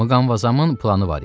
Mqamvazamın planı var idi.